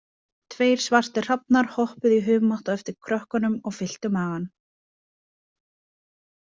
Tveir svartir hrafnar hoppuðu í humátt á eftir krökkunum og fylltu magann.